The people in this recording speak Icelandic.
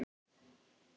Stundum seinna.